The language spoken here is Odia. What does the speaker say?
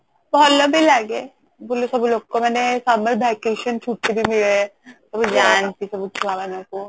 ଭଲ ବି ଲାଗେ ସବୁ ଲୋକମାନେ summer vacation ଛୁଟି ବି ମିଳେ ସବୁ ଯାନ୍ତି ସବୁ ଛୁଆ ମାନଙ୍କୁ